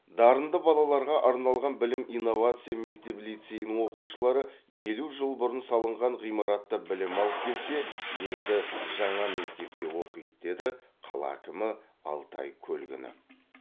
дарынды балаларға арналған білім инновация мектеп лицейінің оқушылары елу жыл бұрын салынған ғимаратта білім алып келсе енді жаңа мектепте оқиды деді қала әкімі алтай көлгінов